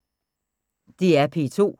DR P2